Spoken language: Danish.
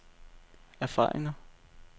erfaringer